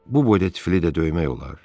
Bu boyda tifli də döymək olar?